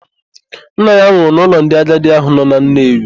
Nna ya nwụrụ n'ụlọ ndị agadi ahụ nọ na Nnewi.